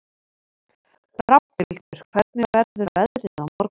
Rafnhildur, hvernig verður veðrið á morgun?